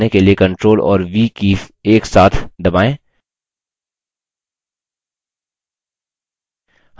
अब document में image प्रविष्ट करने के लिए ctrl और v कीज़ एक साथ दबाएँ